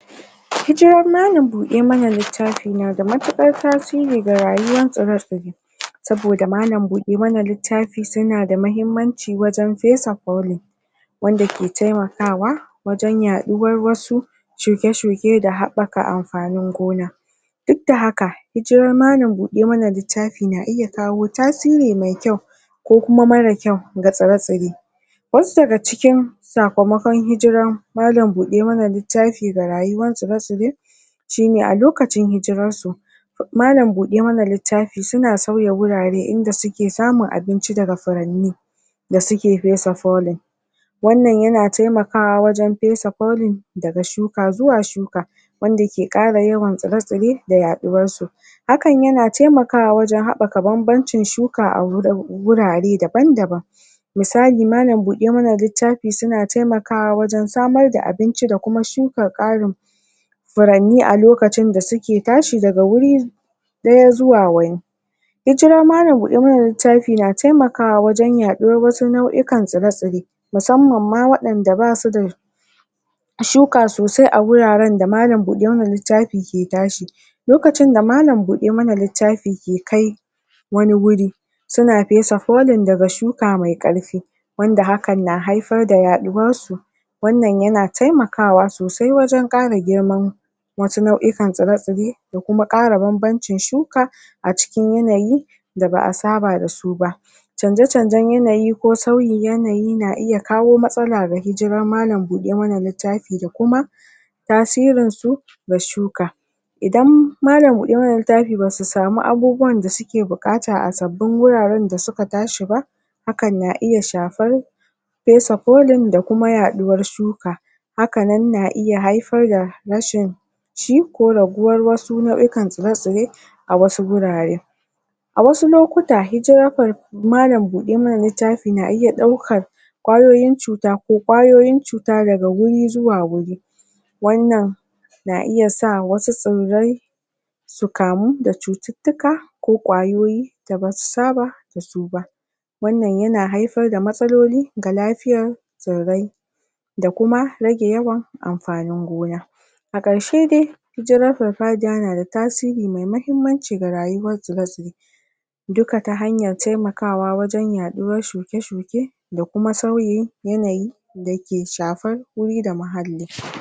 ? hijiran malan buɗe mana liffati na da matuƙar tasiri ga rayuwan tsire tsire saboda malan buɗe mana littafi suna da muhimmanci wajen pesa polin wanda ke taimakawa wajen yaɗuwar wasu shuke shuke da haɓaka ampanin gona duk da haka hijiran malan buɗe mana littafi na iya kawo tasiri mai kyau ko kuma mara kyau ga tsire tsire wasu daga cikin sakamakon hijiran malan buɗe mana littafi ga rayuwan tsire tsire shine a lokacin hijirarsu malan buɗe mana littafi suna sauya wurare inda suke samun abinci daga furanni da suke pesa polin wannan yana taimakawa wajen pesa polin daga shuka zuwa shuka wanda yake ƙara yawan tsire tsire da yaɗuwarsu hakan yana taimakawa wajen haɓaka banbancin shuka a wurare daban daban misali malan buɗe mana littafi suna taimakawa wajen samar da abinci da kuma shuka ƙarin furanni a lokacin da suke tashi daga wuri ɗaya zuwa wani hijiran malan buɗe mana littafi na taimakawa wajen yaɗuwar wasu nau'ukan tsire tsire musamman ma waɗanda basu da shuka sosai a wuraren da malan buɗe mana littafi ke tashi lokacin da malan buɗe mana littafi ke kai wani wuri suna pesa polin daga shuka mai ƙarpi wanda hakan na haipar da yaɗuwarsu wannan yana taimakawa sosai wajen ƙara girman wasu nau'ikan tsire tsire da kuma ƙara banbancin shuka a cikin yanayi da ba'a saba dasu ba chanje chanjen yanayi ko sauyin yanayi na iya kawo matsala ga hijiran malan buɗe mana littafi da kuma tasirinsu ga shuka idan malan buɗe mana littafi basu samu abubuwan da suke buƙata a sabbin wuraren da suka tashi ba hakan na iya shapar pesa polin da kuma yaɗuwar shuka hakanan na iya haifar da rashin ci ko raguwar wasu nau'ukan tsire tsire a wasu wurare a wasu lokuta hijirar malan buɗe mana littafi na iya ɗaukar ƙwayoyin cuta ko ƙwayoyin cuta daga wuri zuwa wuri wannan na iya sa wasu tsirrai su kamu da cututtuka ko ƙwayoyi da basu saba dasu ba wannan yana haifar da matsaloli ga lafiyar tsirrai da kuma rage yawan amfanin gona a ƙarshe de hijirar parpadiya na da tasiri mai mahimmanci ga rayuwar tsire tsire duka ta hanyar taimakawa wajen yaɗuwar shuke shuke da kuma sauyin yanayi da ke shafar wuri da muhalli